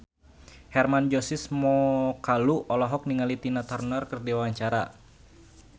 Hermann Josis Mokalu olohok ningali Tina Turner keur diwawancara